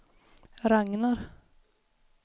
Ragnar